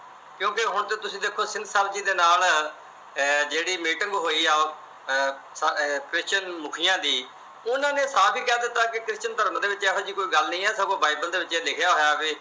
ਕਿਉਂਕਿ ਹੁਣ ਜੇ ਤੁਸੀਂ ਦੇਖੋ ਤਾਂ ਸਿੰਘ ਸਾਹਿਬ ਜੀ ਦੇ ਨਾਲ ਜਿਹੜੀ meeting ਹੋਈ ਆ, Christian ਮੁਖੀਆ ਦੀ। ਉਹਨਾਂ ਨੇ ਸਾਫ ਈ ਕਹਿ ਦਿੱਤਾ ਕਿ Christian ਧਰਮ ਚ ਇਹੋ ਜੀ ਕੋਈ ਗੱਲ ਨਹੀਂ ਆ। ਸਗੋਂ Bible ਦੇ ਵਿੱਚ ਇਹ ਲਿਖਿਆ ਹੋਇਆ ਵੀ